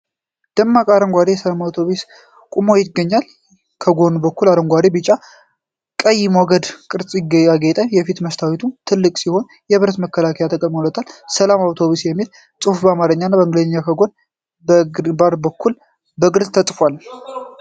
ደማቅ አረንጓዴ የሰላም አውቶቡስ ቆሞ ይገኛል። የጎን አካሉ በአረንጓዴ፣ ቢጫ እና ቀይ ሞገድ ቅርፅ ያጌጠ ነው። የፊት መስታወቱ ትልቅ ሲሆን፣ የብረት መከላከያ ተገጥሞለታል። "ሰላም አውቶቡስ" የሚለው ጽሑፍ በአማርኛና በእንግሊዘኛ በጎን እና በግንባር በኩል በግልፅ ተጽፏል።